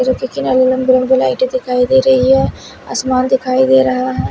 मेरे पीछे लाइटें दिखाई दे रही हैं आसमान दिखाई दे रहा है।